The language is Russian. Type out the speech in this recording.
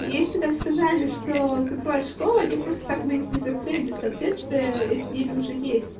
если там сказали что закроют школу или просто так мы их не захотели соответствия эпидемия уже есть